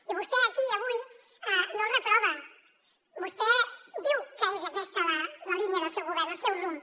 i vostè aquí avui no el reprova vostè diu que és aquesta la línia del seu govern el seu rumb